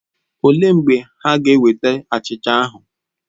Olee mgbe ha ga-eweta achịcha ahụ?